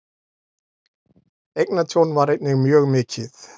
Eignatjón var einnig mjög mikið.